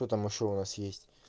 потому что у вас есть